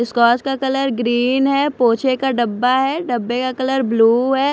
का colour green है पोछे का डब्बा है डब्बे का कलर ब्लू है।